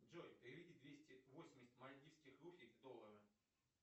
джой переведи двести восемьдесят мальтийских рупий в доллары